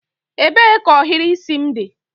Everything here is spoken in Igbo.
Ebee ka ohiri isi m dị?